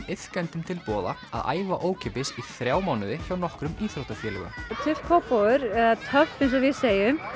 iðkendum til boða að æfa ókeypis í þrjá mánuði hjá nokkrum íþróttafélögum Kópavogur eða töff eins og við segjum